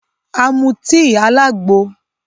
A mú tíì alàgbo